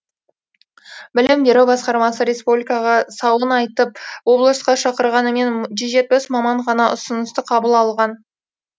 білім беру басқармасы республикаға сауын айтып облысқа шақырғанымен жүз жетпіс маман ғана ұсынысты қабыл алған